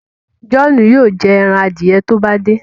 John yóò jé èràn adiẹ tí o bá de.